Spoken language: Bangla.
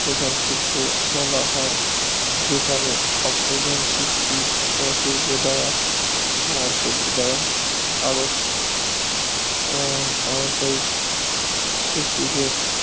প্রধান শিল্প বলা হয় যেখানে অপ্রধান শিল্পী শিল্প দ্বারা শিল্প দ্বারা শিল্পীকে